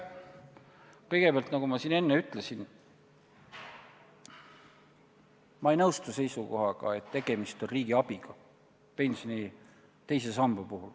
Kõigepealt, nagu ma enne ütlesin, ei nõustu ma seisukohaga, et pensioni teise samba puhul on tegemist riigi abiga.